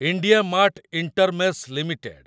IndiaMART Intermesh limited